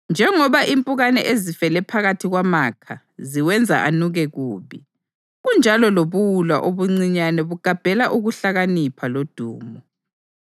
Njengoba impukane ezifele phakathi kwamakha ziwenza anuke kubi, kunjalo lobuwula obuncinyane bugabhela ukuhlakanipha lodumo.